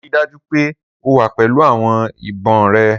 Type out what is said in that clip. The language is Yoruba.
Rii daju pe o wa pẹlu awọn ibon rẹ!